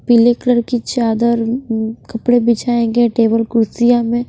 पीले कलर की चादर उं उं कपड़े बिछाएंगे टेबल कुर्सियां में--